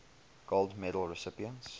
gold medal recipients